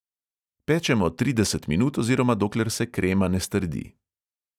Pečemo trideset minut oziroma dokler se krema ne strdi.